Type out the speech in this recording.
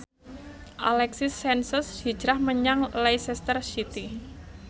Alexis Sanchez hijrah menyang Leicester City